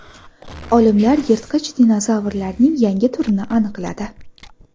Olimlar yirtqich dinozavrlarning yangi turini aniqladi.